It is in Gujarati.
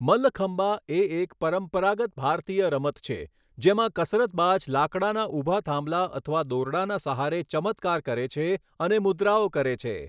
મલ્લખંબા એ એક પરંપરાગત ભારતીય રમત છે જેમાં કસરતબાજ લાકડાના ઊભા થાંભલા અથવા દોરડાના સહારે ચમત્કાર કરે છે અને મુદ્રાઓ કરે છે.